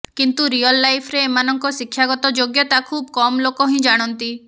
କିନ୍ତୁ ରିୟଲ୍ ଲାଇଫରେ ଏମାନଙ୍କ ଶିକ୍ଷାଗତ ଯୋଗ୍ୟତା ଖୁବ୍ କମ୍ ଲୋକ ହିଁ ଜାଣନ୍ତି